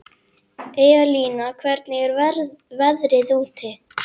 Elína, hvernig er veðrið úti?